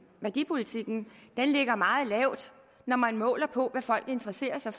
værdipolitikken ligger meget lavt når man måler på hvad folk interesserer sig